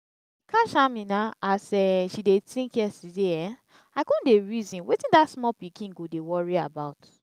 i catch amina as um she dey think yesterday um i come dey reason wetin dat small pikin go dey worry about